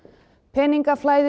peningaflæði